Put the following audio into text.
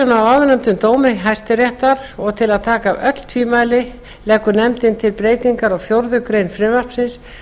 af áðurnefndum dómi hæstaréttar og til að taka af öll tvímæli leggur nefndin til breytingar á fjórðu grein frumvarpsins